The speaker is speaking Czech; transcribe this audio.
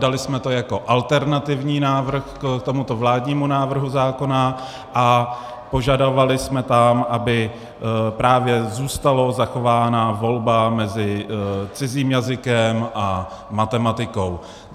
Dali jsme to jako alternativní návrh k tomuto vládnímu návrhu zákona a požadovali jsme tam, aby právě zůstala zachována volba mezi cizím jazykem a matematikou.